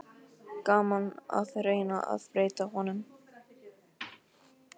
Gaman að reyna að breyta honum.